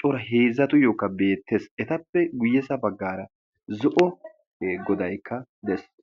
coora heezzatuyyookka beettees etappe guyyesa baggaara zo'o e godaykka dees.